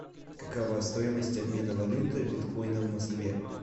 какова стоимость обмена валюты биткоина в москве